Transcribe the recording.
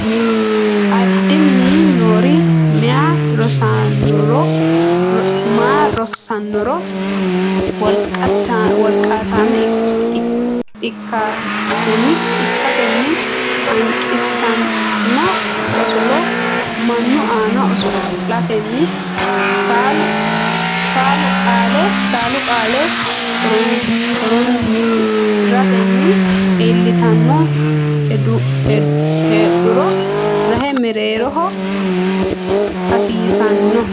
Addinni niro meyaa rosaanora wolqaatamma ikkatenni hanqisanno osolo mannu aana oso latenni saalu qaale horonsi ratenni iillitanno heedhuro rahe mereero hasiissanno.